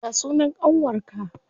Ya sunan ƙanwar ka?